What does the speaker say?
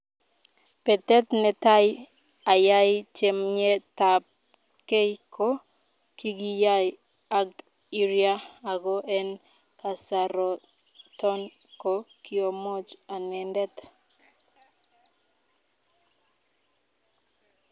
Petet netai ayai chamyetap kei ko kigiyai ag iria ago en kasaroton ko kiomoche anendet.